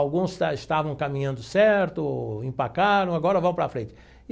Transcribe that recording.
Alguns esta estavam caminhando certo, empacaram, agora vamos para frente.